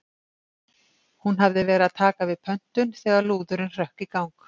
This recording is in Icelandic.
Hún hafði verið að taka við pöntun þegar lúðurinn hrökk í gang.